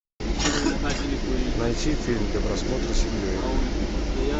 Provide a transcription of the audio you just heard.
найти фильм для просмотра с семьей